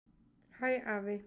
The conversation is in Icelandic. Hæ, afi.